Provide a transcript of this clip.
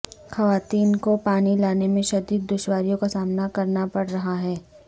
خواتین کو پانی لانے میں شدید دشواریوں کا سامنا کرنا پڑ رہا ہے